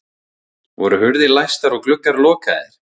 Voru hurðir læstar og gluggar lokaðir?